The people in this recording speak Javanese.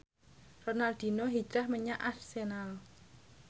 Ronaldinho hijrah menyang Arsenal